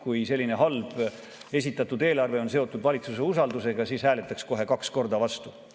Kui selline halb eelarve on seotud valitsuse usaldus, siis hääletaks kohe kaks korda vastu.